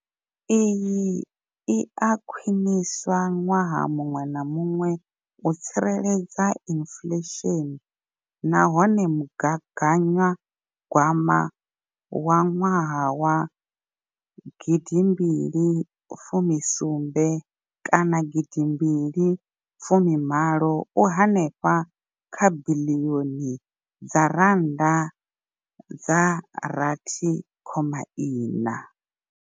Iyi i a khwiniswa ṅwaha muṅwe na muṅwe u tsireledza inflesheni nahone mugaganyagwama wa gidimbili fumi sumbe kana gidimbili fumi malo u henefha kha biḽioni dza rannda dza rathi khoma iṋa.